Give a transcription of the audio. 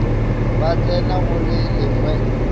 ba tsena go le lengwe